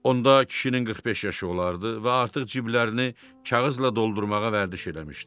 Onda kişinin 45 yaşı olardı və artıq ciblərinə kağızla doldurmağa vərdiş eləmişdi.